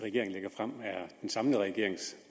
regeringen lægger frem er den samlede regerings